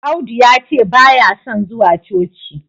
Audu yace baya son zuwa coci